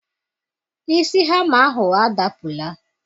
Isi hama ahụ adapụla.